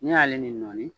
N'i y'ale ni nɔni